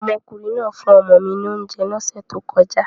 Omokunrin naa fun omo mi ni ounje lose to koja